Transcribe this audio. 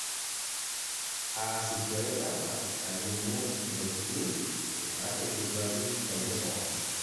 Aaasishore data alimu intokiting' naategeluaki tenkisuma.